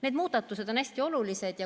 Need muudatused on hästi olulised.